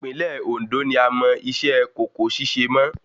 Ìpínlẹ̀ Òndó ni a mọ iṣẹ́ kòkó ṣíṣe mọ́